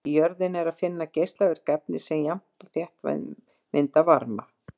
Í jörðinni er að finna geislavirk efni sem jafnt og þétt mynda varma.